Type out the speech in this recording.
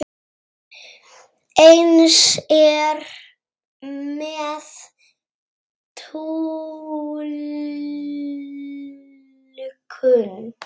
Eins er með túlkun.